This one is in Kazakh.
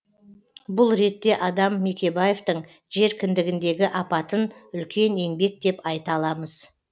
бұл ретте адам мекебаевтің жер кіндігіндегі апатын үлкен еңбек деп айта аламыз